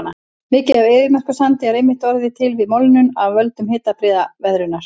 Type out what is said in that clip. Mikið af eyðimerkursandi er einmitt orðið til við molnun af völdum hitabrigðaveðrunar.